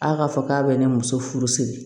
A k'a fɔ k'a bɛ ne muso furu siri